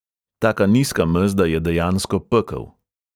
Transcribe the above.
Taka nizka mezda je dejansko pekel.